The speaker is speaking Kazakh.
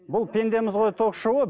бұл пендеміз ғой ток шоуы